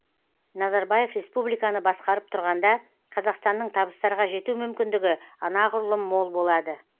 назарбаев республиканы басқарып тұрғанда қазақстанның табыстарға жету мүмкіндігі анағұрлым мол болады